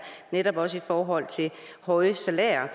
netop også i forhold til høje salærer